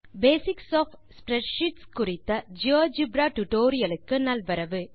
வணக்கம்Basics of spreadsheets குறித்த GeoGebra tutorial க்கு நல்வரவு